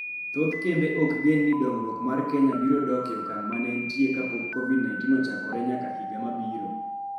Thoth kembe ok gen ni dongruok mar Kenya biro dok e okang' ma ne entie kapok COVID-19 ochakore nyaka higa mabiro.